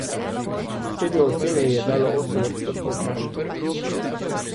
Srednjo oceno ji je dalo osem odstotkov vprašanih.